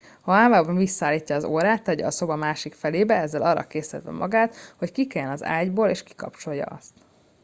ha álmában visszaállítja az órát tegye a szoba másik felébe ezzel arra késztetve magát hogy kikeljen az ágyból és kikapcsolja azt